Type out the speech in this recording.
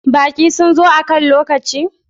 Baƙi sun zo akan lokaci?